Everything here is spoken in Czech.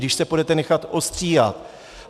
Když se půjdete nechat ostříhat.